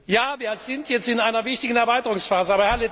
Ja, wir sind jetzt in einer wichtigen Erweiterungsphase.